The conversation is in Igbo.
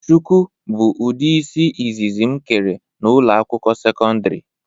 Shụkụ bụ ụdị isi ịzịzị m kere na ụlọ akwụkwọ sekọndrị.